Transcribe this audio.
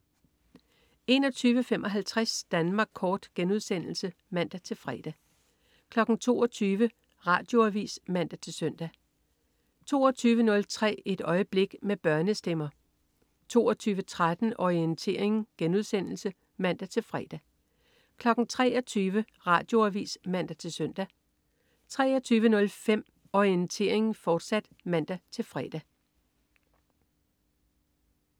21.55 Danmark Kort* (man-fre) 22.00 Radioavis (man-søn) 22.03 Et øjeblik. Med børnestemmer 22.13 Orientering* (man-fre) 23.00 Radioavis (man-søn) 23.05 Orientering, fortsat* (man-fre)